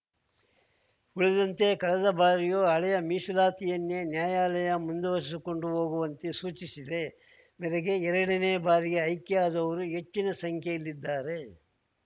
ಉಳಿದಂತೆ ಕಳೆದ ಬಾರಿಯು ಹಳೆಯ ಮೀಸಲಾತಿಯನ್ನೇ ನ್ಯಾಯಾಲಯ ಮುಂದುವರಿಸಿಕೊಂಡು ಹೋಗುವಂತೆ ಸೂಚಿಸಿದೆ ಮೇರೆಗೆ ಎರಡನೇ ಬಾರಿಗೆ ಆಯ್ಕೆಯಾದವರು ಹೆಚ್ಚಿನ ಸಂಖ್ಯೆಯಲ್ಲಿದ್ದಾರೆ